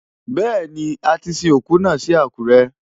Bẹ́ẹ̀ni, a ti sin òkú náà sí Àkúrẹ́.